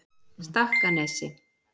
Stakkanesi